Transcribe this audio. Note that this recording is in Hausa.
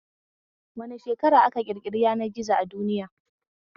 A wane shekara aka ƙirƙiri yanar gizo a duniya?